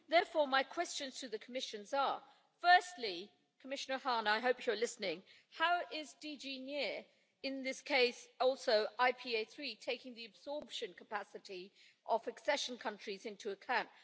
Therefore, my questions to the Commission are, firstly Commissioner Hahn, I hope you're listening how is DG NEAR, in this case also IPA III, taking the absorption capacity of accession countries into account?